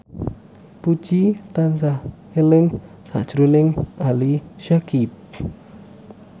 Puji tansah eling sakjroning Ali Syakieb